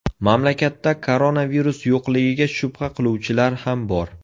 Mamlakatda koronavirus yo‘qligiga shubha qiluvchilar ham bor.